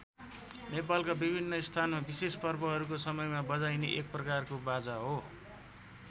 नेपालका विभिन्न स्थानमा विशेष पर्वहरूको समयमा बजाइने एक प्रकारको बाजा हो।